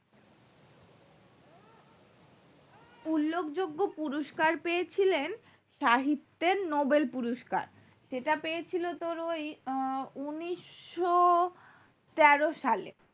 উল্লেখ যোগ্য পুরস্কার পেয়েছিলেন সাহিত্যের নোবেল পুরস্কার সেটা পেয়েছিল তোর ওই উন্নিশ তেরো সালে